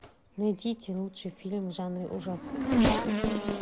найдите лучший фильм в жанре ужасы